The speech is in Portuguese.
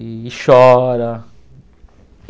E chora.